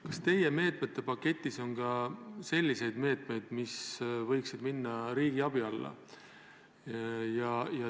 Kas teie meetmete paketis on ka selliseid meetmeid, mis võiksid minna riigiabi alla?